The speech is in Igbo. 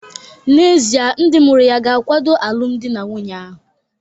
N'ezie, ndị mụrụ ya ga-akwado alụmdi na nwunye ahụ?